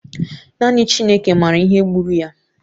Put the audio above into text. Naanị Chineke maara ihe gburu ya